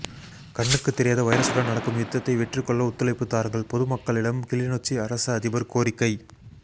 கண்ணுக்கு தெரியாத வைரசுடன் நடக்கும் யுத்தத்தை வெற்றிக்கொள்ள ஒத்துழைப்பு தாருங்கள் பொது மக்களிடம் கிளிநொச்சி அரச அதிபர் கோரிக்கை